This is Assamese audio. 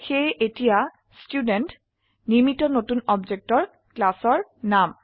সেয়ে এতিয়া ষ্টুডেণ্ট নিৰ্মিত নতুন অবজেক্টৰ ক্লাসৰ নাম